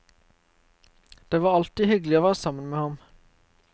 Det var alltid hyggelig å være sammen med ham.